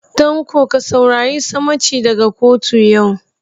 Tanko ka saurari sammaci daga kotu yau.